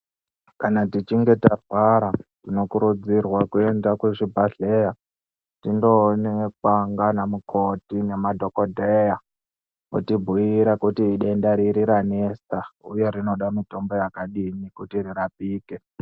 Kana tichinge tarwara tinokurudzirwa kuenda kuzvibhedhlera tindoonekwa ngaanamukoti naanadhokodheya votibhuira kuti denda riri ranesa uye rinoda mitombo yakadini kuti rirapike.